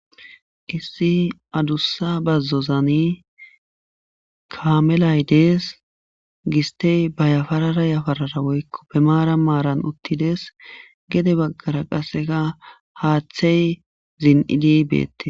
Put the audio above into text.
Issi adussa bazzozani kaamelay dees gistey bayafarara yafarara woykko pemaara maaran uttides gede baggara qasseka haaththey zin7idi beette